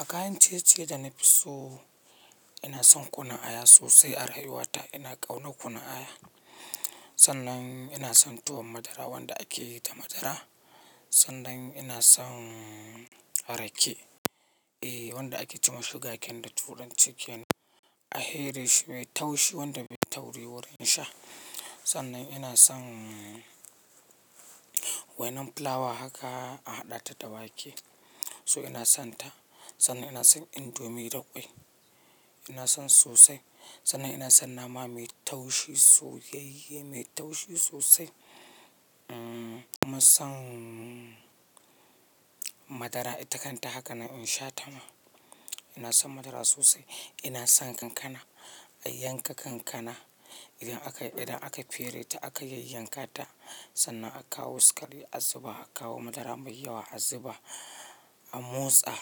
A kayan ciye-ciye da na fi so, ina son kunun aya sosai, arrayuwa ta. Ina ƙauna kunun aya. Sannan ina son tuwon madara wanda ake yi da madara. Sannan ina son rake, eh wanda ake ci mashuga ken da turan ci kenan a heri shi mai taushi wanda bai tauri wurin sha. Sannan ina son wainan fulawa haka a haɗa ta da wake. So ina son ta. Sannan ina son indomi da ƙwai. Ina son sosai. Sannan ina son nama mai taushi soyayye mai taushi sosai. Umm ina son madara ita kan ta haka na in sha ta ma. Ina son madara sosai. Ina son kankana, a yanka kankana idan aka, idan aka fere ta aka yanyanka ta sannan aka kawo sukari a zuba, aka kawo madara mai yawa a zuba a motsa.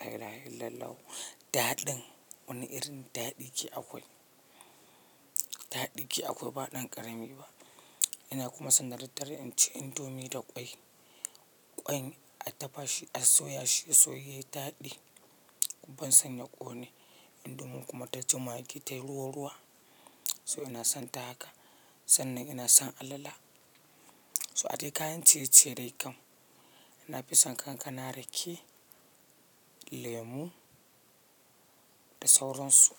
Lai lahaillalahu. Daɗin wani irin daɗi ke akwai. Daɗi ke akwai ba ɗan ƙarami ba. Ina kuma san da daddare in ci indomi da ƙwai. Ƙwai a dafa shi, a soya shi sai yayi daɗi. Ban san ya ƙone indomin kuma ta ji maggi tayi ruwa ruwa. So ina son ta haka. Sannan ina son alala. So hade kayan ciye-ciye dai kam. Ina fi son kankana, rake, lemu da sauransu.